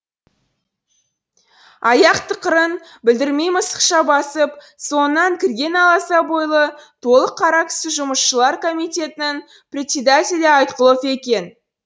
аяқ тықырын білдірмей мысықша басып соңынан кірген аласа бойлы толық қара кісі жұмысшылар комитетінің председателі айтқұлов екен